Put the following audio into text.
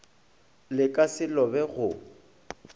le ka se lobe go